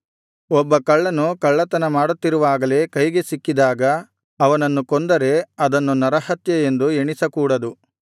ಒಬ್ಬ ಕಳ್ಳನು ಕಳ್ಳತನ ಮಾಡುತ್ತಿರುವಾಗಲೇ ಕೈಗೆ ಸಿಕ್ಕಿದಾಗ ಅವನನ್ನು ಕೊಂದರೆ ಅದನ್ನು ನರಹತ್ಯೆಯೆಂದು ಎಣಿಸಕೂಡದು